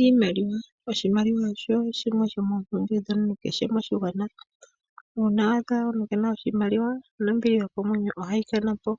Iimaliwa Oshimaliwa osho shimwe shomoompumbwe ndhono kehe moshigwana. Uuna wa adha omuntu ke ena oshimaliwa nombili yokomwenyo ohayi ka na po.